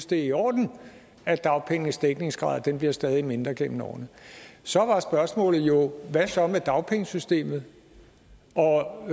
det er i orden at dagpengenes dækningsgrad bliver stadig mindre gennem årene så var spørgsmålet jo hvad så med dagpengesystemet og